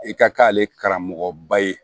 I ka k'ale karamɔgɔ ba ye